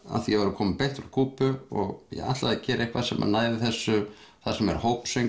af því ég var að koma beint frá Kúbu og ætlaði að gera eitthvað sem næði þessu þar sem er